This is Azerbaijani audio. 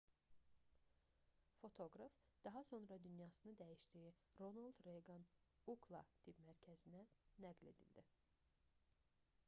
fotoqraf daha sonra dünyasını dəyişdiyi ronald reyqan ucla tibb mərkəzinə nəql edildi